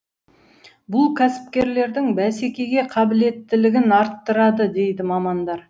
бұл кәсіпкерлердің бәсекеге қабілеттілігін арттырады дейді мамандар